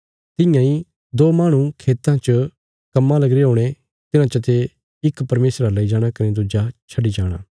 तियां इ दो माहणु खेतां च कम्मां लगीरे हुणे तिन्हां चाते इक परमेशरा लेई जाणा कने दुज्जा छड्डी जाणा